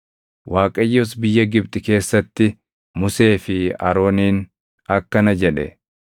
Waaqayyos biyya Gibxi keessatti Musee fi Arooniin akkana jedhe;